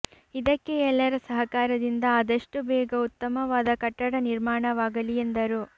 ಇದಕ್ಕೆ ಎಲ್ಲರ ಸಹಕಾರದಿಂದ ಆದಷ್ಟು ಬೇಗ ಉತ್ತಮವಾದ ಕಟ್ಟಡ ನಿರ್ಮಾಣವಾಗಲಿ ಎಂದರು